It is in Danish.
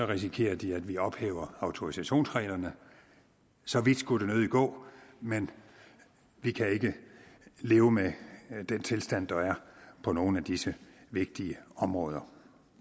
risikerer de at vi ophæver autorisationsreglerne så vidt skulle det nødig gå men vi kan ikke leve med den tilstand der er på nogle af disse vigtige områder